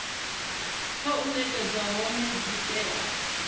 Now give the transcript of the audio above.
khou nekedzwa hone dzi tea